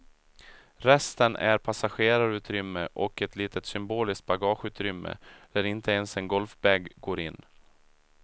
Resten är passagerarutrymme och ett litet symboliskt bagageutrymme där inte ens en golfbag går in.